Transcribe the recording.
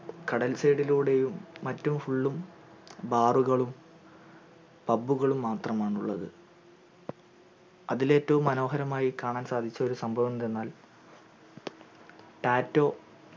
കടൽ side ലൂടെയും മറ്റും full ഉം bar കളും pub കള് മാത്രമാണുള്ളത് അതിലേറ്റവും മനോഹരമായി കാണാൻ സാധിച്ച സംഭവം എന്തെന്നാൽ tattoo